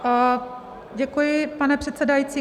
Děkuji, pane předsedající.